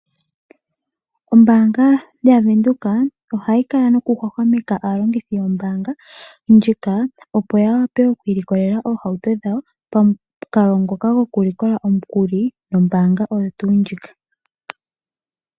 Ombaanga yaVenduka ohayi kala noku hwahwameka aalongithi yombaanga ndjika opo ya wape oku ilikolela oohauto dhawo pamukalo ngoka goku likola omukuli nombaanga oyo tuu ndjika.